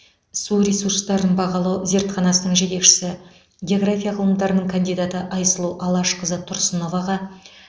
су ресурстарын бағалау зертханасының жетекшісі география ғылымдарының кандидаты айсұлу алашқызы тұрсыноваға